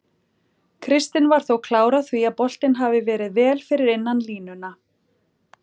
Kristinn var þó klár á því að boltinn hafi verið vel fyrir innan línuna.